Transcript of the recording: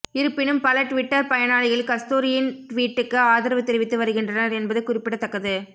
இருப்பினும் பல டுவிட்டர் பயனாளிகள் கஸ்தூரியின் டுவீட்டுக்கு ஆதரவு தெரிவித்து வருகின்றனர் என்பது குறிப்பிடத்தக்கது